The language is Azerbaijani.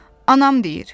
Anam deyir.